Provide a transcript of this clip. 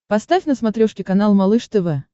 поставь на смотрешке канал малыш тв